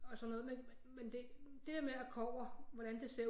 Og sådan noget men men det der kobber hvordan det ser